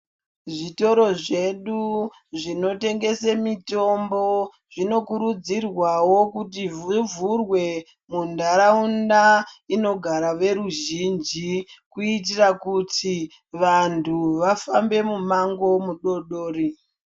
Zvitoro zvedu zvinotengese mitombo zvinokurudzirwawo kuti zvivhurwe muntaraunda inogara veruzhinji kuitira kuti vantu vafambe mumango mudodori.